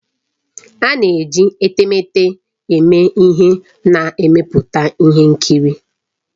A na-eji etemeete eme ihe na mmepụta ihe nkiri